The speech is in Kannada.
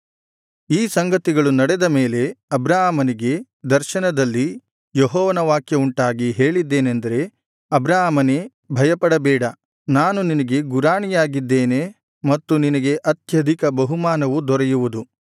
ಈ ಸಂಗತಿಗಳು ನಡೆದ ಮೇಲೆ ಅಬ್ರಾಮನಿಗೆ ದರ್ಶನದಲ್ಲಿ ಯೆಹೋವನ ವಾಕ್ಯವುಂಟಾಗಿ ಹೇಳಿದೇನೆಂದರೆ ಅಬ್ರಾಮನೇ ಭಯಪಡಬೇಡ ನಾನು ನಿನಗೆ ಗುರಾಣಿಯಾಗಿದ್ದೇನೆ ಮತ್ತು ನಿನಗೆ ಅತ್ಯಧಿಕ ಬಹುಮಾನವು ದೊರೆಯುವುದು